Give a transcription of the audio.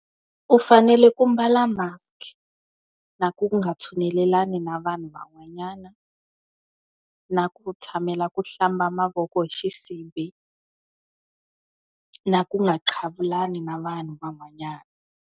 U fanele ku mbala mask-i, na ku nga tshunelelani na vanhu van'wanyana, na ku tshamela ku hlamba mavoko hi xisibi, na ku nga qhavulani na vanhu van'wanyana.